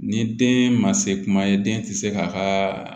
Ni den ma se kuma ye den tɛ se k'a ka